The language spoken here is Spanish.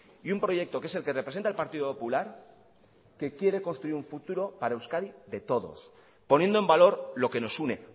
y un proyecto que es el que representa el partido popular que quiere construir un futuro para euskadi de todos poniendo en valor lo que nos une